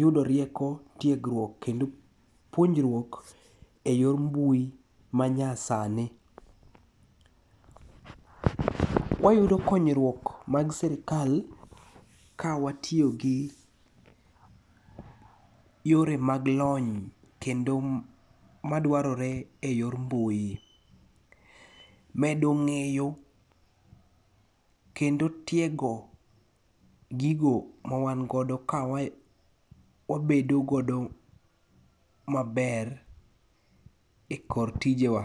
yudo rieko, tiegruok, kendo puonjruok e yor mbui manyasani. Wayudo konyruok mag serikal ka watiyogi yore mag lony, kendo madwarore e yor mbui. Medo ng'eyo kendo tiego gigo ma wan godo kawabedo godo maber e kor tijewa.